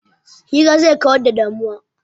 Hira zai kawar da damuwa.